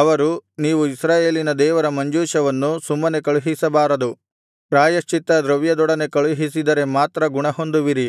ಅವರು ನೀವು ಇಸ್ರಾಯೇಲಿನ ದೇವರ ಮಂಜೂಷವನ್ನು ಸುಮ್ಮನೆ ಕಳುಹಿಸಬಾರದು ಪ್ರಾಯಶ್ಚಿತ್ತದ್ರವ್ಯದೊಡನೆ ಕಳುಹಿಸಿದರೆ ಮಾತ್ರ ಗುಣಹೊಂದುವಿರಿ